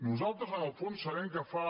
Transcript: nosaltres en el fons sabem que fa